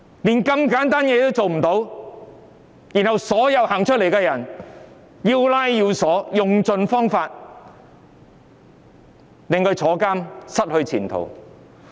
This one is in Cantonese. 連這麼簡單的事也做不到，卻將所有走出來反抗的人抓捕，用盡方法令他們入獄和失去前途。